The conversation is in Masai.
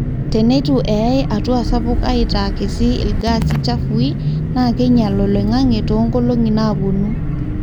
teneitu eyaai hatua sapuk aitaa kiti ilgasi chafui na keinyala oloingange too nnkolongi napuonu